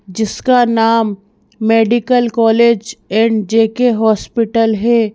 जिसका नाम medical college and J _K hospital है।